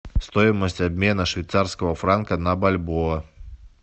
стоимость обмена швейцарского франка на бальбоа